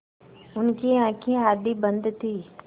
उनकी आँखें आधी बंद थीं